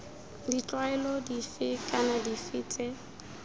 ditlwaelo dife kana dife tse